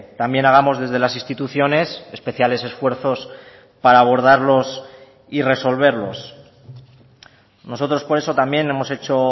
también hagamos desde las instituciones especiales esfuerzos para abordarlos y resolverlos nosotros por eso también hemos hecho